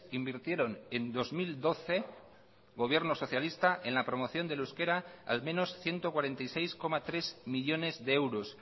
invirtieron en dos mil doce gobierno socialista en la promoción del euskera al menos ciento cuarenta y seis coma tres millónes de euros